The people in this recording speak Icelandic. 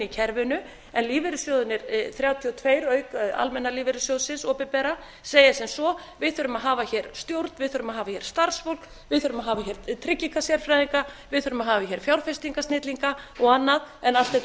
kerfinu en lífeyrissjóðirnir þrjátíu og tvö auk almenna lífeyrissjóðsins opinbera segja sem svo við þurfum að hafa hér stjórn við þurfum að hafa hér starfsfólk við þurfum að hafa hér tryggingasérfræðinga við þurfum að hafa hér fjárfestingasnillinga og annað en allt þetta